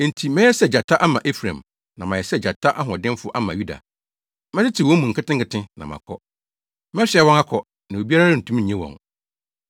Enti mɛyɛ sɛ gyata ama Efraim na mayɛ sɛ gyata hoɔdenfo ama Yuda. Mɛtetew wɔn mu nketenkete, na makɔ; Mɛsoa wɔn akɔ, na obiara rentumi nnye wɔn.